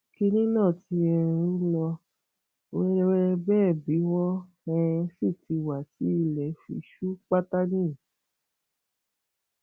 kínní náà ti um ń lọ wẹrẹwẹrẹ bẹẹ bí wọn um sì ti wá tí ilẹ fi ṣú pátá nìyí